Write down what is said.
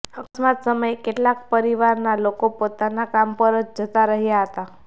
અકસ્માત સમયે કેટલાક પરિવારના લોકો પોતાના કામ પર જતા રહ્યાં હતા